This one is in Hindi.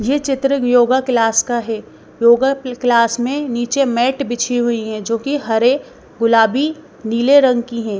ये चित्र एक योगा क्लास का है योगा क्लास में नीचे मैट बिछी हुई है जो कि हरे गुलाबी नीले रंग की है।